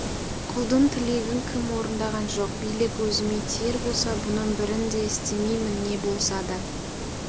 құлдың тілегін кім орындаған жоқ билік өзіме тиер болса бұның бірін де істемеймін не болса да